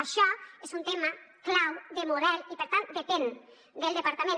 això és un tema clau de model i per tant depèn del departament